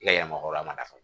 I ka yafa a ma fana